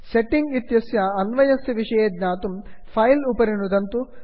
setting इत्यस्य अन्वयस्य विषये ज्ञातुं फिले फैल् उपरि नुदन्तु